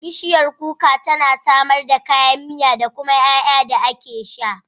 Bishiyar kuka tana samar da kayan miya da kuma ƴaƴa da ake sha.